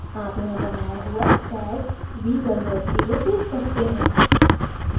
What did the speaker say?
आप यहाँ बनाया हुआ tag v10 tag सकते हैं